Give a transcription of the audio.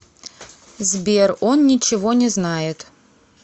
сбер он ничего не знает